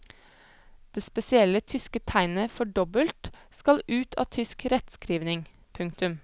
Det spesielle tyske tegnet for dobbelt skal ut av tysk rettskrivning. punktum